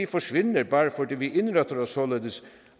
forsvinder bare fordi vi indretter os således